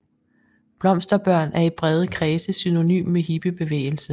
Blomsterbørn er i brede kredse synonym med hippiebevægelse